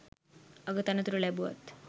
අග තනතුරු ලැබුවත්